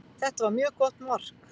Þetta var mjög gott mark.